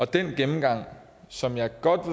den gennemgang som jeg godt